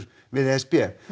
við e s b